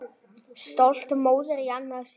Stolt móðir í annað sinn.